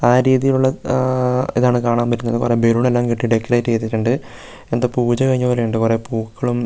ആ രീതിയിലുള്ള ആഹ് ഇതാണ് കാണാൻ പറ്റുന്നത് കുറേ ബലൂണെല്ലാം കെട്ടി ഡെക്കറേറ്റ് ചെയ്തിട്ടുണ്ട് എന്തോ പൂജ കഴിഞ്ഞ പോലെയുണ്ട് കുറേ പൂക്കളും ഉം --